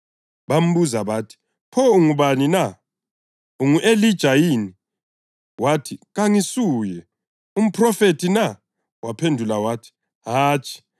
Bambuza bathi, “Pho ungubani na? Ungu-Elija yini?” Wathi, “Kangisuye.” “Ungumphrofethi na?” Waphendula wathi, “Hatshi.”